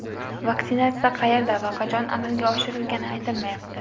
Vaksinatsiya qayerda va qachon amalga oshirilgani aytilmayapti.